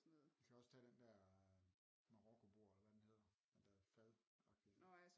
Vi kan også tage den dér marokko bord eller hvad den hedder den dér fadagtige